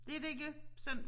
Det de gør sådan